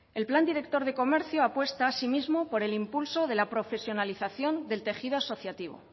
el plan director de comercio apuesta asimismo por el impulso de la profesionalización del tejido asociativo